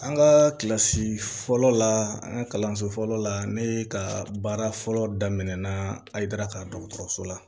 An ka kilasi fɔlɔ la an ka kalanso fɔlɔ la ne ye ka baara fɔlɔ daminan ayidurakadɔso la